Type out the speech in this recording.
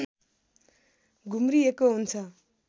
घुम्रिएको हुन्छ